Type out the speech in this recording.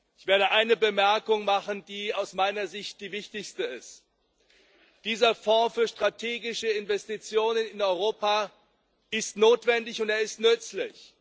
Ich werde eine Bemerkung machen, die aus meiner Sicht die wichtigste ist Dieser Fonds für strategische Investitionen in Europa ist notwendig, und er ist nützlich.